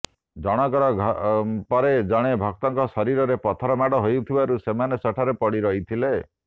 ଜଣଙ୍କ ପରେ ଜଣେ ଭକ୍ତଙ୍କ ଶରୀରରେ ପଥର ମାଡ଼ ହୋଇଥିବାରୁ ସେମାନେ ସେଠାରେ ପଡ଼ି ରହିଥିଲେ